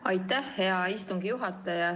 Aitäh, hea istungi juhataja!